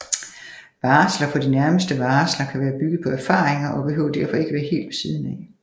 Varsler for de nærmeste varsler kan være bygget på erfaringer og behøver derfor ikke være helt ved siden af